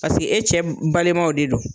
Paseke e cɛ balimaw de don.